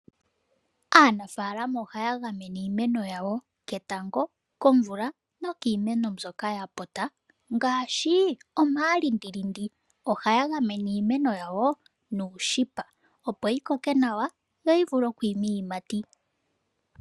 Aanafaalama ohaya gamene iimeno yawo ketango, komvula nokiimeno mbyoka inaayi pumbiwa. Ohaya gamene iimeno yawo moothayila nenge ooshipa opo yi koke nawa yo yi vule okwiima iiyimati.